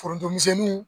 Forontomisɛnninw